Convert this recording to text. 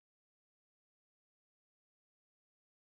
Eins er um mig.